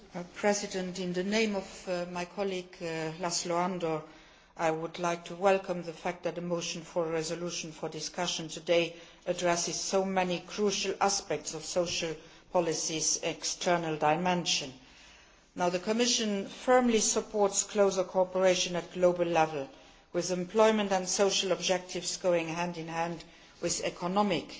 Mr President, on behalf of my colleague, László Andor, I would like to welcome the fact that the motion for a resolution for discussion today addresses so many crucial aspects of social policy's external dimension. The Commission firmly supports closer cooperation at global level, with employment and social objectives going hand in hand with economic